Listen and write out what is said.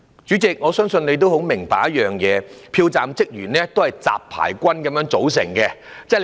主席，我相信你很明白，票站職員是由"雜牌軍"組成的。